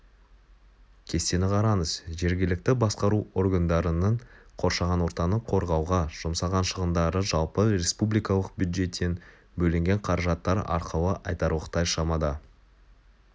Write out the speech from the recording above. кестені қараңыз жергілікті басқару органдарының қоршаған ортаны қорғауға жұмсаған шығындары жалпы республикалық бюджеттен бөлінген қаражаттар арқылы айтарлықтай шамада